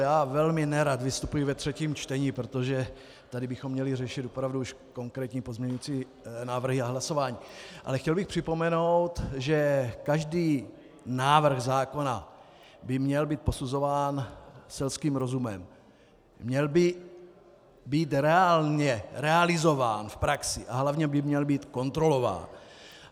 Já velmi nerad vystupuji ve třetím čtení, protože tady bychom měli řešit opravdu už konkrétní pozměňovací návrhy a hlasování, ale chtěl bych připomenout, že každý návrh zákona by měl být posuzován selským rozumem, měl by být reálně realizován v praxi a hlavně by měl být kontrolován.